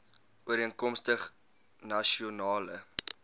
ooreenkomstig nasion ale